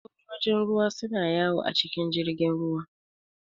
Sojojin ruwa su na yawo a cikin jirgin ruwa